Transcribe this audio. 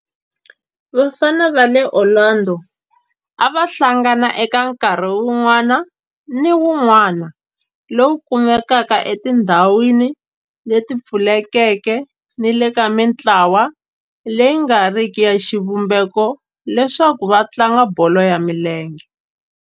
Vafana va le Orlando a va hlangana eka nkarhi wun'wana ni wun'wana lowu kumekaka etindhawini leti pfulekeke ni le ka mintlawa leyi nga riki ya xivumbeko leswaku va tlanga bolo ya milenge.